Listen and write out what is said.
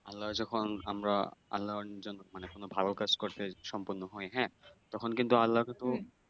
আল্লাহ যখন আমরা আল্লাহ যখন মানে কোন ভাল কাজ করতে সম্পূর্ণ হয় হ্যাঁ তখন কিন্তু আল্লাহ তখন